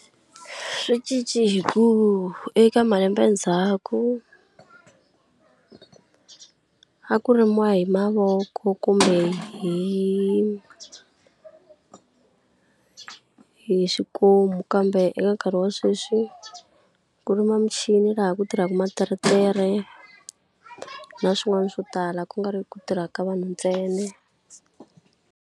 Swi cince hi ku eka malembe ndzhaku a ku rimiwa hi mavoko kumbe hi hi xikomu kambe eka nkarhi wa sweswi, ku rima michini laha ku tirhaka materetere na swin'wana swo tala ku nga ri ku tirhaka vanhu ntsena.